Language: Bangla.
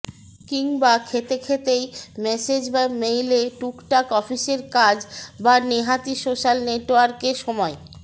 কিংবা খেতে খেতেই মেসেজ বা মেইলে টুক টাক অফিসের কাজ বা নেহাতই সোশ্যাল নেটওয়ার্কে সময়